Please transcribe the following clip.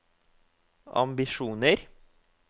ambisjoner